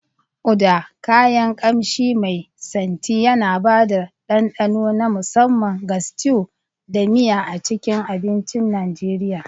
Uda, kayan ƙamshi mai santi, yana ba da dandano na musamman ga stews da miya a cikin abincin Najeriya.